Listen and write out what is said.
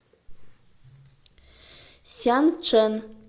сянчэн